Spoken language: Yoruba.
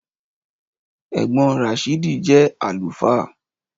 Ẹ̀gbọ́n Ràsídì jẹ́ àlùfáà